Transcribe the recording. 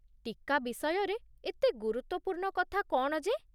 ଟୀକା ବିଷୟରେ ଏତେ ଗୁରୁତ୍ୱପୂର୍ଣ୍ଣ କଥା କ'ଣ ଯେ?